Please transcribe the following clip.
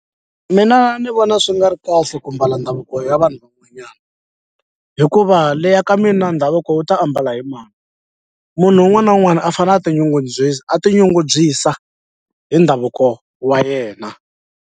Mina ni vona swi nga ri kahle ku mbala ndhavuko ya vanhu van'wanyana hikuva leya ka mina ndhavuko wu ta ambala hi mani munhu un'wana na un'wana a fanele a a tinyungubyisa hi ndhavuko wa yena.